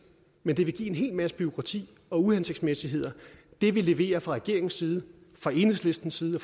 men det vil give en hel masse bureaukrati og uhensigtsmæssigheder det vi leverer fra regeringens side fra enhedslistens side